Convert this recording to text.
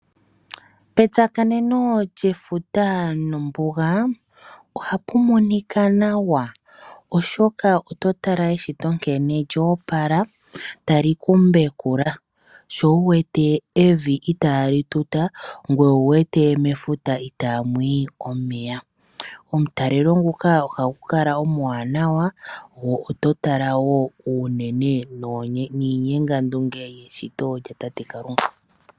Petsakaneno lyefuta nombuga ohapu monika nawa oshoka ototala eshito nkene lyoopala tali kumbekula, sho wu wete evi itaali tuta ngoye owuwete mefuta itaamu yi omeya. Omutalelo nguka ohagu kala omuwanawa go ototala wo uunene niinyengandunge yeshito lyatate Kalunga.